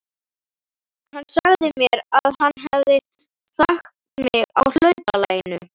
Hann sagði mér að hann hefði þekkt mig á hlaupalaginu.